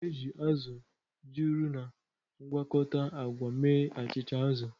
A na-eji azụ̀ juru na mgwakota agwa mee achịcha azụ̀.